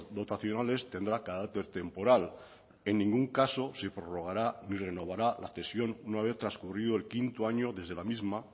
dotacionales tendrá carácter temporal en ningún caso se prorrogará ni renovará la cesión una vez transcurrido el quinto año desde la misma